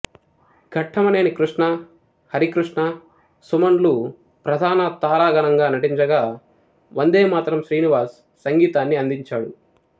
ఘట్టమనేని కృష్ణ హరికృష్ణ సుమన్ లు ప్రధాన తారాగణంగా నటించగా వందేమాతరం శ్రీనివాస్ సంగీతాన్నందించాడు